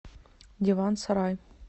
диван сарай